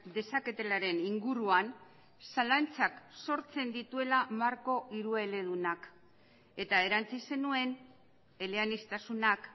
dezaketelaren inguruan zalantzak sortzen dituela marko hirueledunak eta erantsi zenuen eleaniztasunak